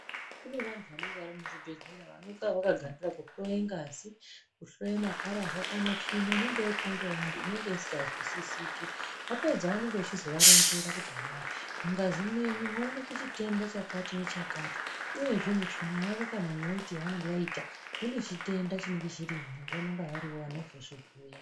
Kune vanhu vanenge vari muzvibhehlera vanonga vakagarira kuhloye ngazi, kuhloye makararwa, kana tsvina inenge yaitwa ngaanhu isinganzwisisiki, vapedza vanenge vachizovaronzera kuti hai mungazi mwenyu mwaoneke chitenda chakati-nechakati, uyezve mutsvina yavo kana muweti yavanenge vaita munechitenda chinenge chirimwo, vanonga varovo vanozozvibhuya.